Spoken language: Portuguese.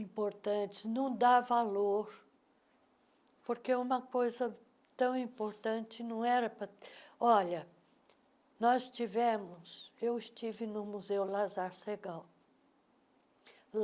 importantes, não dá valor, porque uma coisa tão importante não era para... Olha, nós tivemos... Eu estive no Museu Lazar Segal.